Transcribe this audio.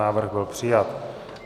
Návrh byl přijat.